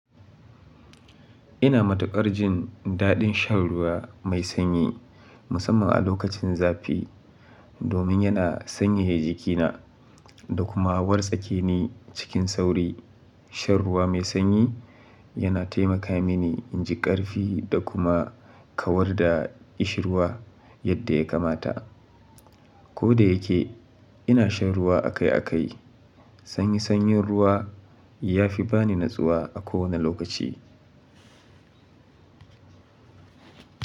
Ina matukar jin daɗin shan ruwa mai sanyi, musamman a lokacin zafi domin yana sanyaya jikina, da kuma wartsake ni cikin sauri. Shan ruwa mai sanyi, yana taimaka mini in ji ƙarfi da kuma kawar da kishin ruwa yadda ya kamata. Ko da yake, ina shan ruwa akai-akai, sanyi sanyin ruwa ya fi ba ni natsuwa a kowane lokaci.